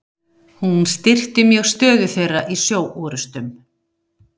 hún styrkti mjög stöðu þeirra í sjóorrustum